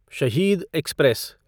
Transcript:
शहीद एक्सप्रेस